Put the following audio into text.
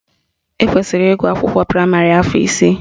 Ekwesiri ịgụ akwụkwọ praịmarị afọ isii